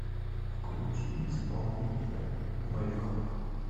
включи исполнителя мэйклав